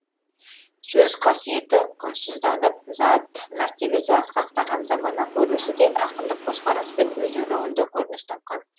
сөз қасиеті құнсызданып зат мәртебесі асқақтаған замана көрінісі де ақындық көзқараспен өз өлеңінде көрініс тапқан